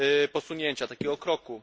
posunięcia, takiego kroku.